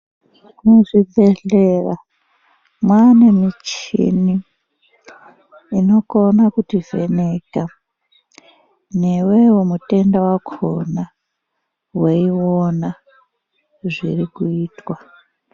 Muzvibhehlera mwane michini inokona kutivheneka newewo mutenda wakhona weiona zvirikuitwa.